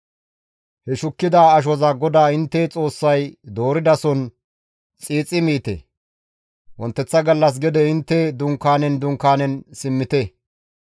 He shukkida ashoza GODAA intte Xoossay dooridason xiixi miite; wonteththa gallas gede intte dunkaanen dunkaanen simmite.